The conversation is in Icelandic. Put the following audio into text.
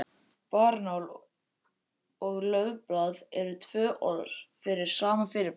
Barrnál og laufblað eru tvö orð yfir sama fyrirbærið.